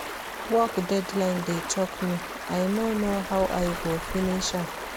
Work deadline dey choke me, I no know how I go finish am.